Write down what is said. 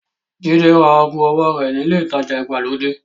Jídé ra aago owó rẹ̀ ní ilé-ìtajà ìgbàlódé.